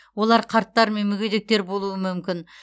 олар қарттар мен мүгедектер болуы мүмкін